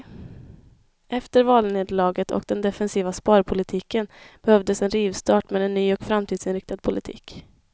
Efter valnederlaget och den defensiva sparpolitiken behövdes en rivstart med en ny och framtidsinriktad politik.